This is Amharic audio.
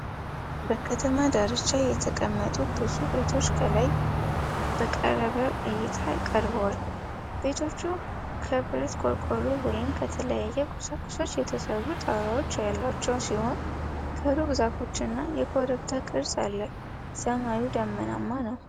በከተማ ዳርቻ የተቀመጡ ብዙ ቤቶች ከላይ በቀረበ እይታ ቀርበዋል። ቤቶቹ ከብረት ቆርቆሮ ወይም ከተለያዩ ቁሳቁሶች የተሠሩ ጣራዎች ያሏቸው ሲሆን፣ ከሩቅ ዛፎችና የኮረብታ ቅርጽ አለ። ሰማዩ ደመናማ ነው።